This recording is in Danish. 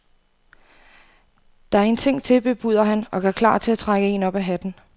Der er en ting til, bebuder han og gør klar til at trække en op af hatten.